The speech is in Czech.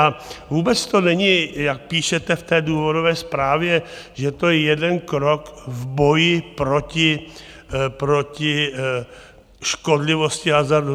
A vůbec to není, jak píšete v té důvodové zprávě, že to je jeden krok v boji proti škodlivosti hazardu.